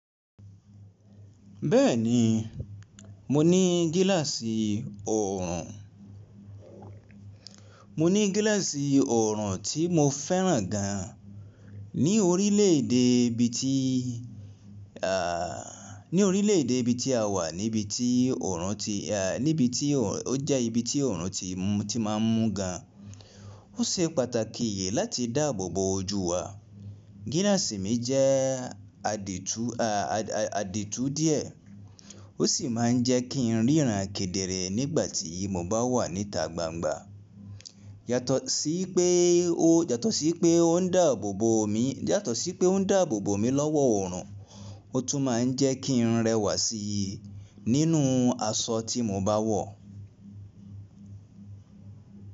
Bẹ́ẹ̀ni, mo ní gíláàsì ọ̀ọ̀rùn. Mo ní gíláàsì ọ̀ọ̀rùn tí mo fẹ́ràn gan ní orílẹ̀ èdè ibi ti, à, ní orílẹ̀ èdè ibi tí a wà níbi tí ọ̀ọ̀rùn ti a, níbi tí ọ̀ọ̀, ó jẹ́ ibi tí ọ̀ọ̀rùn ti, ti má ń mú gan. Ó ṣe pàtàkì yìí láti dàbọ̀ bo ojú wa. Gíláàsì mi jẹ́ adétú, a, adétú díẹ̀. Ó sì má ń jẹ́ kí n ríran kedere nígbà tí mo bá wà níta gbangba. Yàtọ̀ sí pé ó, yàtọ̀ sí pé ó n dàbọ̀ bo omi, yàtọ̀ sí pé ó n dàbọ̀ bo omi lọ́wọ́ ọ̀ọ̀rùn, ó tún ma ń jẹ́ kí n rẹwà sí i nínú aṣọ tí mo bá wọ̀